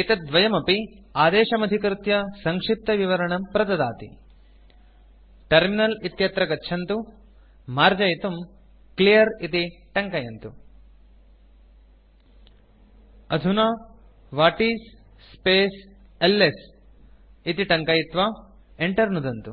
एतद्द्वयमपि आदेशमधिकृत्य सङ्क्षिप्तविवरणं प्रददाति टर्मिनल इत्यत्र गच्छन्तु मार्जयितुम् क्लियर् इति टङ्कयन्तु अधुना व्हाटिस् स्पेस् एलएस इति टङ्कयित्वा enter नुदन्तु